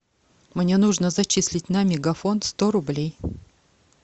мне нужно зачислить на мегафон сто рублей